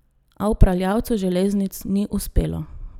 A upravljavcu železnic ni uspelo.